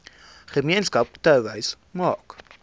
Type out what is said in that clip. gemeenskap touwys maak